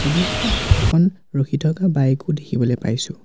ছবিখনত এখন ৰখি থকা বাইক ও দেখিবলৈ পাইছো ।